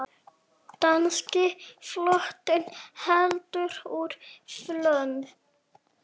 Danski flotinn heldur úr höfn!